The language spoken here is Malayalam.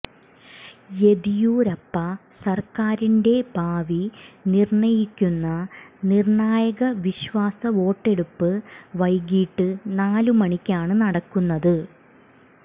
യെദിയൂരപ്പ സര്ക്കാരിന്റെ ഭാവി നിര്ണയിക്കുന്ന നിര്ണായക വിശ്വാസ വോട്ടെടുപ്പ് വൈകിട്ട് നാല് മണിക്കാണ് നടക്കുന്നത്